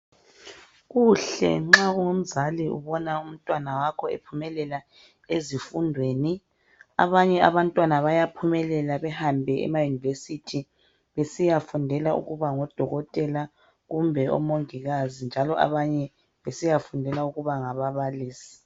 Kuhle ma ungumzali ubona umntwana wakho ephumelela ezifundweni, abanye abantwana bayaphumelela behambe emaYunivesithi besiyafundela ukuba ngoDokotela kumbe omongikazi njalo abanye besiyafundela ukuba ngababalisi